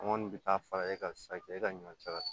An kɔni bɛ taa fara e kan sisan k'e ka ɲɔ cɛ